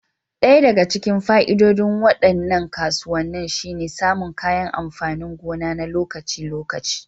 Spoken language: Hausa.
Ɗaya daga cikin fa'idodin waɗannan kasuwanni shine samun kayan amfanin gona na lokaci-lokaci.